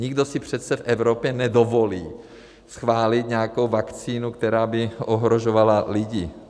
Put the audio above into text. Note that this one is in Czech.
Nikdo si přece v Evropě nedovolí schválit nějakou vakcínu, která by ohrožovala lidi.